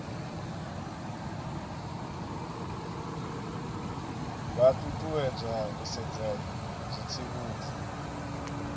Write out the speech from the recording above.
vha ṱuṱuwedzwa u sedza zwitsivhudzi